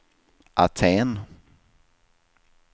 Aten